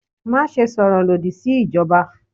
Maṣe sọrọ lodi si ijọba!